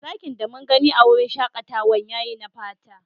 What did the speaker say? Zakin da mun gani a'wurin shakatawan ya yi na fata.